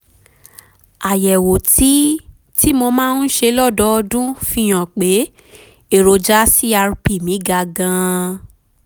àyẹ̀wò tí tí mo máa ń ṣe lọ́dọọdún fi hàn pé èròjà crp mi ga gan-an